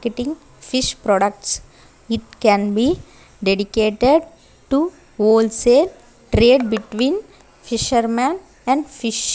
cutting fish products it can be dedicated to wholesale trade between fisherman and fish.